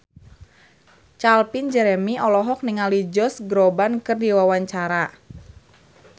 Calvin Jeremy olohok ningali Josh Groban keur diwawancara